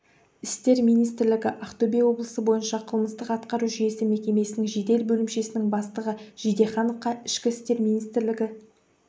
істер министрлігі ақтөбе облысы бойынша қылмыстық-атқару жүйесі мекемесінің жедел бөлімшесінің бастығы жидехановқа ішкі істер министрлігі